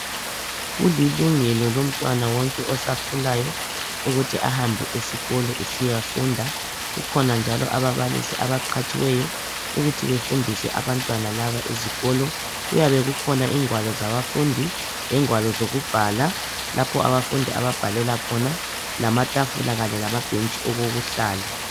Kulungile lomntwana wonke osakhulayo ukuthi ahambe esikolo ukuyafunda. Kukhona njalo ababalisi abaqhatshiweyo ukuthi befundise abantwana laba esikolo. Kuyabe kukhona ingwalo zabafundi lengwalo zokubhala lapho abafundi ababhalela khona, lamatafula kanye lamabhentshi okokuhlala.